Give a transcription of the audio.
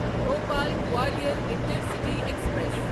Bhopal Gwalior intercity express